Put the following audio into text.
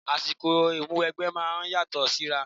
Àsìkò Ìmúwẹgbẹ́ máa ń yàtọ̀ síra